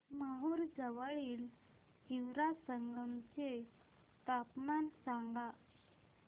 माहूर जवळील हिवरा संगम चे तापमान सांगा